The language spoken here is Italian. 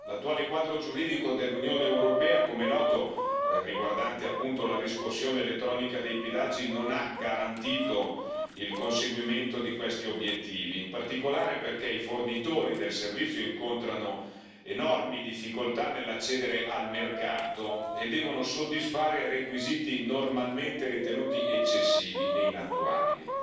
L'attuale quadro giuridico dell'Unione europea, come è noto, riguardante appunto la riscossione elettronica dei pedaggi, non ha garantito il conseguimento di questi obiettivi, in particolare perché i fornitori del servizio incontrano enormi difficoltà nell'accedere al mercato e devono soddisfare requisiti normalmente ritenuti eccessivi e inattuabili.